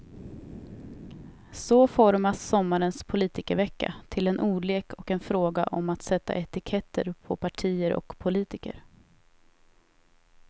Så formas sommarens politikervecka till en ordlek och en fråga om att sätta etiketter på partier och politiker.